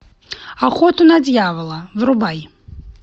охоту на дьявола врубай